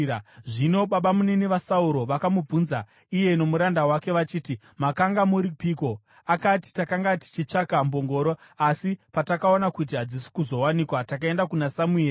Zvino babamunini vaSauro vakamubvunza iye nomuranda wake vachiti, “Makanga muripiko?” Akapindura achiti, “Takanga tichitsvaga mbongoro. Asi patakaona kuti hadzisi kuzowanikwa takaenda kuna Samueri.”